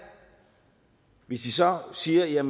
hvis de så siger